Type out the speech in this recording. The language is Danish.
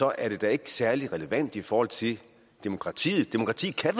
er det da ikke særlig relevant i forhold til demokratiet demokrati kan